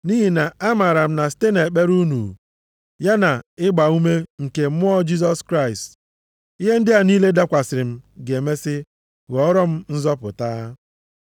Nʼihi na-amaara m na site nʼekpere unu, ya na ịgbaume nke Mmụọ Jisọs Kraịst ihe ndị a niile dakwasịrị m ga-emesi ghọọrọ m nzọpụta.